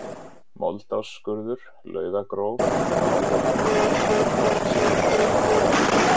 Moldásskurður, Laugagróf, Álfabrekka, Hraksíðuá